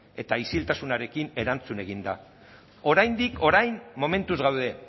eta isiltasunarekin erantzun egin da oraindik orain momentuz gaude